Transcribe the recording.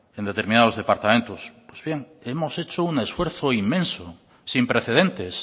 en determinados departamentos pues bien hemos hecho un esfuerzo inmenso sin precedentes